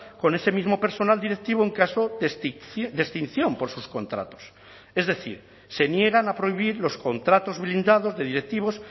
con ese mismo personal directivo en caso de extinción por sus contratos es decir se niegan a prohibir los contratos blindados de directivos